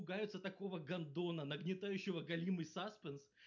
пугается такого гандона нагнетающего галимый сазпенс